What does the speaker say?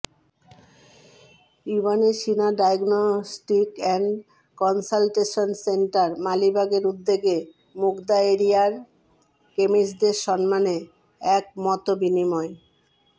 ibn Sina diagnostic and consultation centre মালিবাগের উদ্যোগে মুগদা এরিয়ার কেমিস্টদের সম্মানে এক মতবিনিময়